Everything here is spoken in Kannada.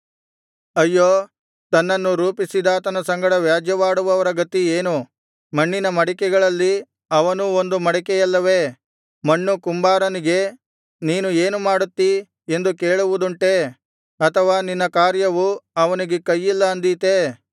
ಅಯ್ಯೋ ತನ್ನನ್ನು ರೂಪಿಸಿದಾತನ ಸಂಗಡ ವ್ಯಾಜ್ಯವಾಡುವವನ ಗತಿ ಏನು ಮಣ್ಣಿನ ಮಡಿಕೆಗಳಲ್ಲಿ ಅವನೂ ಒಂದು ಮಡಿಕೆಯಲ್ಲವೆ ಮಣ್ಣು ಕುಂಬಾರನಿಗೆ ನೀನು ಏನು ಮಾಡುತ್ತೀ ಎಂದು ಕೇಳುವುದುಂಟೇ ಅಥವಾ ನಿನ್ನ ಕಾರ್ಯವು ಅವನಿಗೆ ಕೈಯಿಲ್ಲ ಅಂದೀತೇ